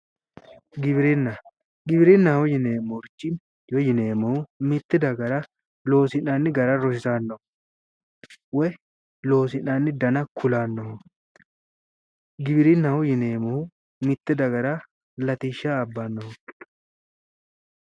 Giwirina giwirinnaho yineemorichi woy yineemohu mite dagara loosinanni gara rosiisanoho, woy loosinanni dana kulanoho, giwirinnaho yineemohu mite dagara Latisha abanoho